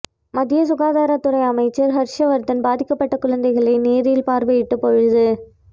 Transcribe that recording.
மத்திய சுகாதாரத்துறை அமைச்சர் ஹர்ஷ் வரதன் பாதிக்கப்பட்ட குழந்தைகளை நேரில் பார்வையிட்டபொழுது